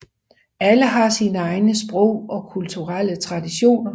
Alle har sine egne sprog og kulturelle traditioner